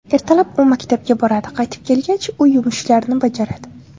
Ertalab u maktabga boradi, qaytib kelgach uy yumushlarini bajaradi.